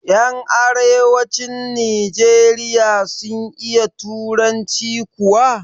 Yan arewacin nijeriya sun iya turanci kuwa?